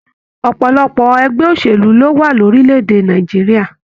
Ọpọlọpọ ẹgbẹ òṣèlú lo wà lorílẹ̀-èdè Nàìjíríà.